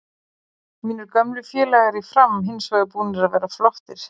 Mínir gömlu félagar í Fram hinsvegar búnir að vera flottir.